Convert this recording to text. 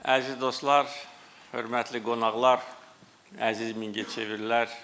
Əziz dostlar, hörmətli qonaqlar, əziz Mingəçevirlilər.